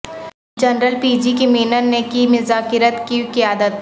general P G K Menon نے کی مذاکرات کی قیادت